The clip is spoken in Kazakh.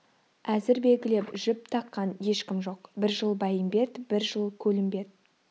әзір белгілеп жіп таққан ешкім жоқ бір жыл бәйімбет бір жыл көлімбет